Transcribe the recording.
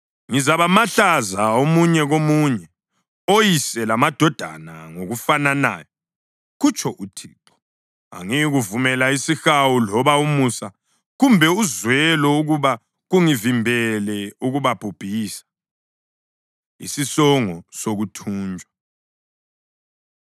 Ngizabamahlaza omunye komunye, oyise lamadodana ngokufananayo, kutsho uThixo. Angiyikuvumela isihawu loba umusa kumbe uzwelo ukuba kungivimbele ukubabhubhisa.’ ” Isisongo Sokuthunjwa